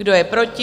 Kdo je proti?